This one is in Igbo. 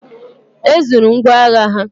E zuru ngwọagha ha.